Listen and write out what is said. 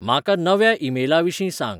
म्हाका नव्या ईमेलांविशीं सांग